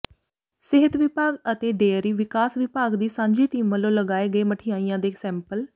ਸਿਹਤ ਵਿਭਾਗ ਅਤੇ ਡੇਅਰੀ ਵਿਕਾਸ ਵਿਭਾਗ ਦੀ ਸਾਂਝੀ ਟੀਮ ਵਲੋਂ ਲਏ ਗਏ ਮਠਿਆਈਆਂ ਦੇ ਸੈਂਪਲ